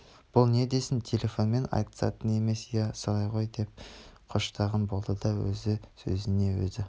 бұл не десін телефонмен айтысатын емес иә солай ғой деп қоштаған болды да өзі сөзіне өзі